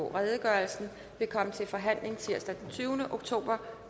redegørelsen vil komme til forhandling tirsdag den tyvende oktober